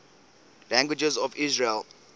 languages of israel